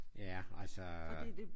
Ja altså